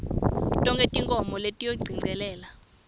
tonkhe tinkhomo letiyongicelela